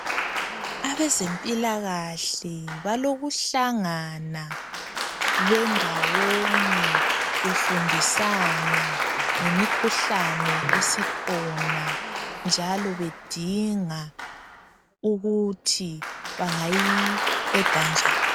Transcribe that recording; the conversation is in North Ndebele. Abezempilakahle balokuhlangana bendawonye befundisana ngemikhuhlane esikhona njalo bedinga ukuthi bangayiqeda njani.